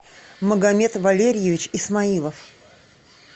магомед валерьевич исмаилов